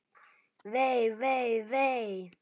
Vei, vei, vei.